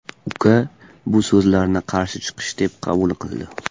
Uka bu so‘zlarni qarshi chiqish deb qabul qildi.